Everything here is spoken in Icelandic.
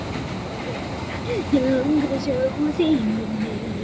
Svona virkar þetta, sagði Georg.